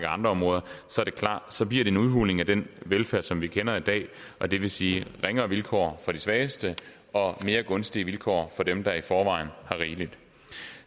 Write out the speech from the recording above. andre områder er det klart at det bliver en udhuling af den velfærd som vi kender i dag og det vil sige ringere vilkår for de svageste og mere gunstige vilkår for dem der i forvejen har rigeligt